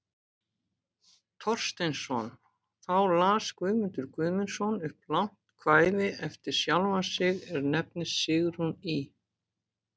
Thorsteinsson, þá las Guðmundur Guðmundsson upp langt kvæði eftir sjálfan sig, er nefnist Sigrún í